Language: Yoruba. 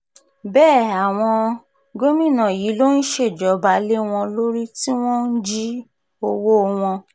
bẹ́ẹ̀ àwọn um gómìnà yìí ló ń ṣèjọba lé wọn lórí tí wọ́n ń jí um owó wọn